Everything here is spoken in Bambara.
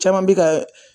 Caman bi ka